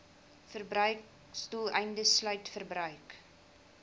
verbruiksdoeleindes sluit verbruik